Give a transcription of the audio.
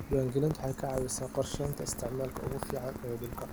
Diiwaangelintu waxay ka caawisaa qorsheynta isticmaalka ugu fiican ee dhulka.